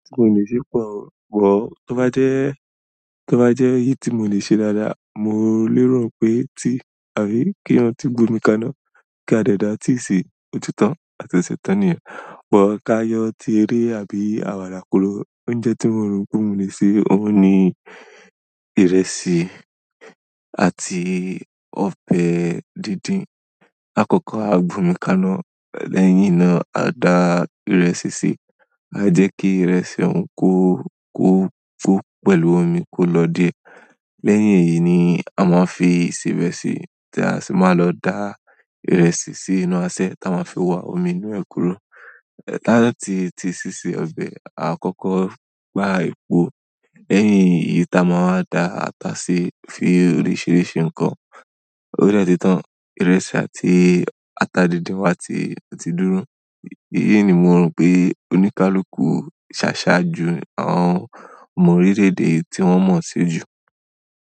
Tí mo lè ṣe pọ̀ o, tó bá jẹ́, tó bá jẹ́ èyí tí mo lè ṣe dáadáa, mo lè rántí pé tí àbí kí ń tí gbú mi kaná kí a dẹ̀ dá á tea sí òtí tan àti ṣẹ̀tán nìyẹn. Bọ̀ ká yọ tí eré àbí àwàdà kúrò, oúnjẹ tí mo rò pé mo lè ṣe òun ni ìrẹsì àti ọbẹ̀ díndín. Àkọ́kọ́ a gbomi kaná, lẹ́yìn náà a dà ìrẹsì sí, à jẹ́ kí ìrẹsì òun kó kó kó pẹ̀lú omi kó lọ dé. Lẹ́yìn èyí ni a máa fi ìsebẹ̀ sí, tí a sì máa lọ dà ìrẹsì sí inú aṣẹ táa máa fi wá omi inú ẹ̀ kúrò. Lẹ́yìn táa ti ti ṣíṣe ọbẹ̀, à kọ́kọ́ gbá epo. Lẹ́yìn ìyí ta máa dà ata ṣi, fi oríṣìíríṣìí ǹkan. Ó de ti tán, ìrẹsì àti ata díndín wa ti ti dúró. Èyí ni mo rò pé oníkálukú sáṣá ju àwọn ọmọ orílẹ̀-èdè tí wọ́n mọ̀ se jù.